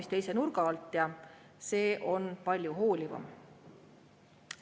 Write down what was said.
See on palju hoolivam.